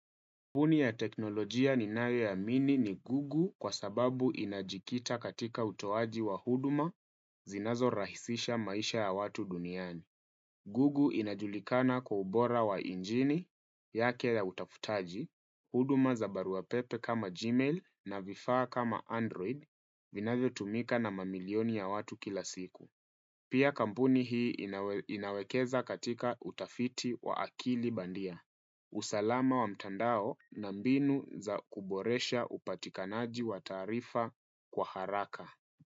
Kampuni ya teknolojia ninayo amini ni Google kwa sababu inajikita katika utowaji wa huduma zinazorahisisha maisha ya watu duniani. Google inajulikana kwa ubora wa injini, yake ya utafutaji, huduma za barua pepe kama Gmail na vifaa kama Android vinavyo tumika na mamilioni ya watu kila siku. Pia kampuni hii inawekeza katika utafiti wa akili bandia. Usalama wa mtandao na mbinu za kuboresha upatikanaji wa taarifa kwa haraka.